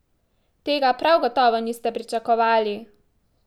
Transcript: Tega prav gotovo niste pričakovali!